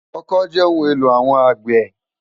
Òkõ jè óoùn éló áwòn ágbè